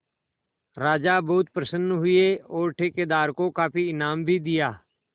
राजा बहुत प्रसन्न हुए और ठेकेदार को काफी इनाम भी दिया